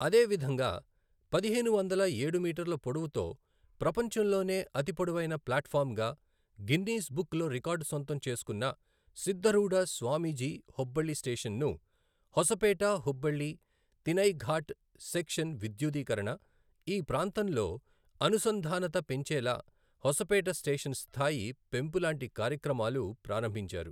అదే విధంగా పదిహేను వందల ఏడు మీటర్ల పొడవుతో ప్రపంచంలోనే అతిపొడవైన ప్లాట్ ఫామ్ గా గిన్నీస్ బుక్ లో రికార్డు సొంతం చేసుకున్న సిద్ధ రూధ స్వామీజీ హుబ్బళ్ళి స్టేషన్ ను, హోసపేట హుబ్బళ్ళి తినైఘాట్ సెక్షన్ విద్యుదీకరణ, ఈ ప్రాంతంలో అనుసంధానత పెంచేలా హోసపేట స్టేషన్ స్థాయి పెంపు లాంటి కార్యక్రమాలు ప్రారంభించారు.